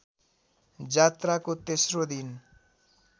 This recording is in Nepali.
जात्राको तेस्रो दिन